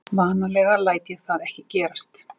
Vanalega læt ég það ekki gerast.